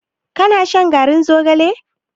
Ka na shan garin zogalen?